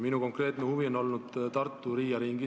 Minu konkreetne huvi on olnud Tartu Riia ring.